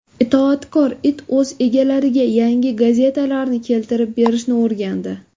Itoatkor it o‘z egalariga yangi gazetalarni keltirib berishni o‘rgandi .